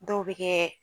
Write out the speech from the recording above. Dɔw bɛ kɛ